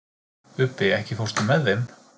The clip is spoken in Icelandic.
Ubbi, ekki fórstu með þeim?